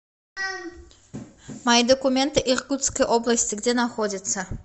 мои документы иркутской области где находится